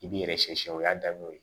I b'i yɛrɛ sɛ o y'a daminɛ o ye